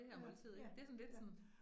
Ja, ja, ja